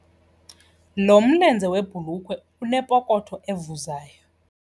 Lo mlenze webhulukhwe unepokotho evuzayo.